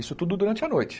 Isso tudo durante a noite.